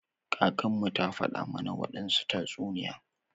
Kakanmu ta faɗa mana wadansu tatsuniya.